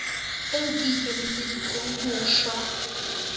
eo ke ikemiseditseng ho shwa